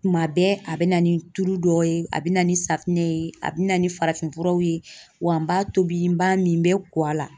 Kuma bɛɛ a bɛ na ni tulu dɔ ye a bɛ na ni safinɛ ye a bɛ na ni farafinfuraw ye wa n b'a tobi n b'a min bɛ kɔ a la